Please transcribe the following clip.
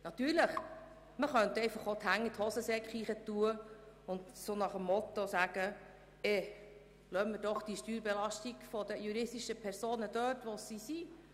Natürlich könnte man auch die Hände in die Hosentaschen stecken und sagen, man belasse die Steuerbelastung für die juristischen Personen dort, wo sie ist.